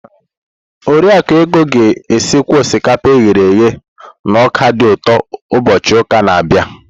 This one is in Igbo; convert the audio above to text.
Oriakụ Ego ga-esikwa osikapa e ghere eghe na ọka dị ụtọ ụbọchị ụka na-abịa.